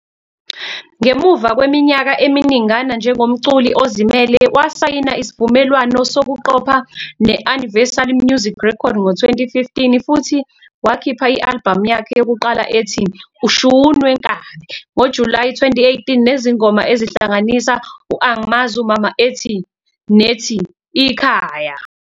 Ngemuva kweminyaka eminingana njengomculi ozimele, wasayina isivumelwano sokuqopha ne-Universal Music Records ngo-2015 futhi wakhipha i-albhamu yakhe yokuqala ethi "Ushun Wenkabi" ngoJulayi 2018, nezingoma ezihlanganisa "u-Ang'mazi umama" nethi "Ikhaya".